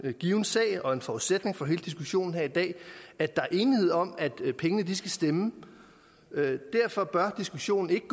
en given sag og en forudsætning for hele diskussionen her i dag at der er enighed om at pengene skal stemme derfor bør diskussionen ikke